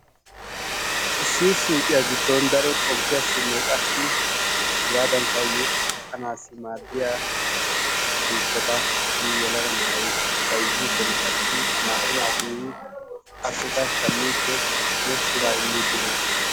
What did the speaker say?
Issiya suyiqiya garssan daro xomppiyassinne qassi hegaadankka yexxanaassi maaddiya miishshata issi yelaga na"ayi bayzziiddinne qassi naa"u naati yiidi appekka shammiiddinne biraa immiiddi de"oosona.